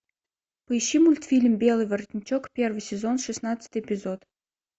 поищи мультфильм белый воротничок первый сезон шестнадцатый эпизод